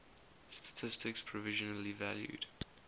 statistics provisionally valued